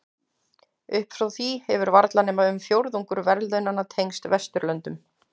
Upp frá því hefur varla nema um fjórðungur verðlaunanna tengst Vesturlöndum.